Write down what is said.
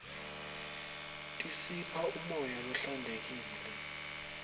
tisipha umoya lohlantekile